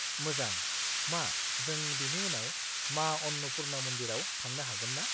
-मोजां, मा जों बिनि उनाव मा अन्नपुर्णा मन्दिराव थांनो हागोन ना?